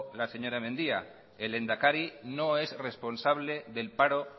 la señora mendia el lehendakari no es responsable del paro